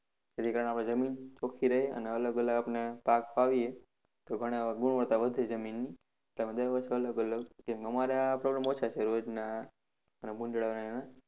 જેથી કારણે આપણી જમીન ચોખિ રહે અને અલગ અલગ પાક વાવીએ તો પણ ગુણવત્તા વધે જમીનની. તેમ દર વર્ષે અલગ અલગ કેમ કે અમારે આ problem ઓછા છે રોજના અને ભુંડાળાના એના.